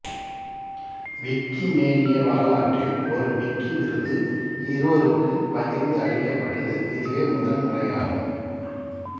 Wikimania வரலாற்றில் ஒரு Wiki விருது இருவருக்கு பகிர்ந்து அளிக்கப்பட்டது இதுவே முதன்முறையாகும்